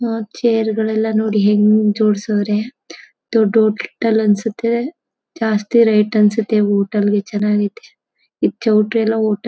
ಆ ಚೇರ್ ಗಳೆಲ್ಲ ನೋಡಿ ಹೆಂಗ್ ಜೋಡಿಸವ್ರೆ ದೊಡ್ಡ ಹೋಟೆಲ್ ಅನಿಸುತ್ತೆ ಜಾಸ್ತಿ ರೇಟ್ ಅನ್ಸುತ್ತೆ ಹೋಟೆಲ್ ಗೆ ಚೆನ್ನಾಗೈತೆ ಈ ಚೌಲ್ಟ್ರಿ ಎಲ್ಲ ಊಟ--